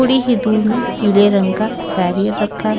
थोड़ी ही दूर में पीले रंग का बैरियर रखा है।